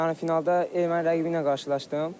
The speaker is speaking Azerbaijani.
Yarı finalda erməni rəqibi ilə qarşılaşdım.